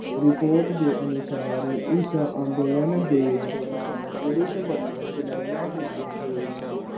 report ਦੇ ਅਨੁਸਾਰ ਇਸ ਅੰਦੋਲਨ ਦੇ ਦੌਰਾਨ police ਵਲੋਂ ਚਲੀਆਂ ਗਈਆਂ ਗੋਲੀਆਂ